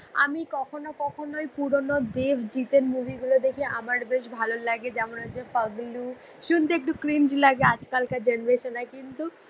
আমি কখন ও কখনই পুরনো দেভ জিতের মুভি গুল দেখি আমার বেশ ভাল লাগে যেমন হছে পাগ্লু শুনতে একটু কুইন্ট লাগে আজকাল কার জেনারেশনে